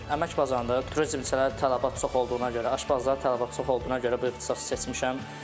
Əmək bazarında turizm içəli tələbat çox olduğuna görə, aşbazlıq tələbat çox olduğuna görə bu ixtisası seçmişəm.